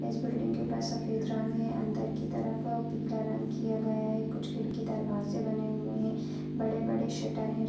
इस बिल्डिंग के ऊपर सफेद रंग है। अंदर की तरफ पीला रंग किया गया है। कुछ खिड़की दरवाज़े बने हुए है। बड़े-बड़े शटर है।